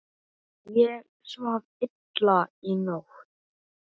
Ég svaf illa í nótt.